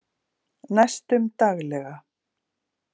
Næstum daglega